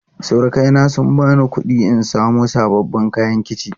Surukai na sun bani kuɗi in samo sababbin kayan kici.